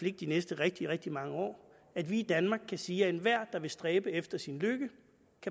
ikke de næste rigtig rigtig mange år at vi i danmark kan sige at enhver der vil stræbe efter sin lykke